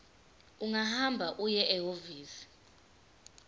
ungahamba uye ehhovisi